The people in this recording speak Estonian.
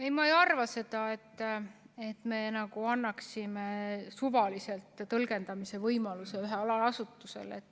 Ei, ma ei arva, et me annaksime tõlgendamise võimaluse suvaliselt ühele allasutusele.